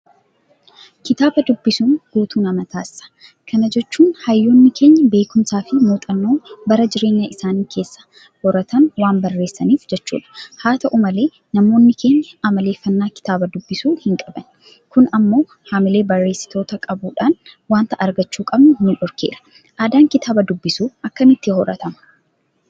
Kitaaba dubbisuun guutuu nama taasisa. Kana jechuun hayyoonni keenya beekumsaafi muuxxannoo bara jireenya isaanii keessa horatan waan barreessaniif jechuudha. Haata'u malee namoonni keenya amaleeffannaa Kitaaba dubbisuu hinqabani. Kun immoo haamilee barreessitootaa qabuudhaan waanta argachuu qabnu nudhorkeera. Aadaan kitaaba dubbisuu akkamitti horatama?